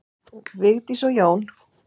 Vigdís og Jón.